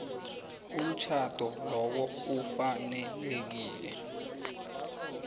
umtjhado lowo ufanelekile